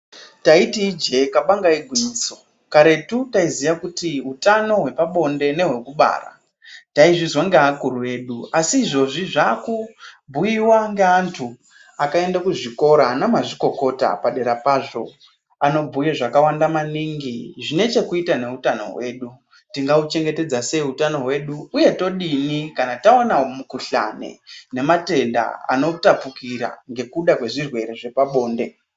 Taiti ijee, kabanga igwingiso, karetu taiziya kuti, utano hwepabonde nehwekubara, taizvizwa ngeakuru edu, asi izvezvi zvaaku bhuiwa ngeanthu akaenda kuzvikora, ana mazvikokota padera pazvo, anobhuya zvakawanda maningi, zvine chekuita neutano hwedu. Kuti tinga uchengetedza sei utano hwedu, uye todini kana tawana mukhuhlani, nematenda anotapukira ngekuda kwezvirwere zvepabonde?